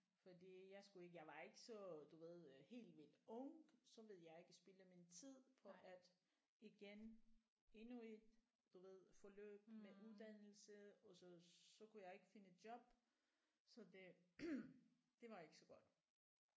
Fordi jeg skulle ikke jeg var ikke så du ved øh helt vildt ung så ville jeg ikke spilde min tid på at igen endnu et du ved forløb med uddannelse og så så kunne jeg ikke finde et job så det det var ikke så godt